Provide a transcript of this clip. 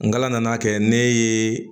N kala nana kɛ ne ye